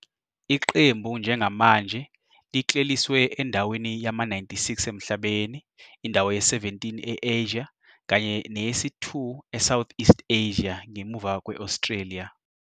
Iqembu njengamanje likleliswe endaweni yama-96 emhlabeni, indawo ye-17 e-Asia kanye neyesi-2 eSoutheast Asia, ngemuva kwe-Australia.